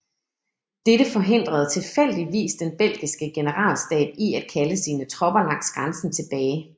Dette forhindrede tilfældigvis den belgiske generalstab i at kalde sine tropper langs grænsen tilbage